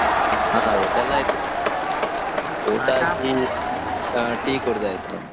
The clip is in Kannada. ಹಾ ಊಟ ಎಲ್ಲಾ ಆಯ್ತು, ಊಟ ಆಗಿ, tea ಕುಡ್ದು ಆಯ್ತು ನಮ್ದು.